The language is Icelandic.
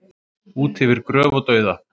Út yfir gröf og dauða